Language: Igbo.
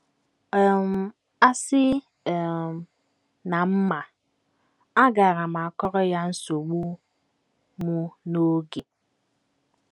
um Asị um na m ma, agaara m akọrọ ya nsogbu m n’oge. ”